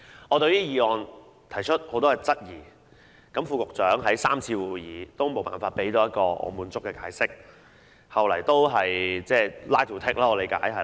我對議案提出很多質疑，副局長在3次會議上也無法提供一個令我滿意的解釋，後來據我理解只是重複 line to take。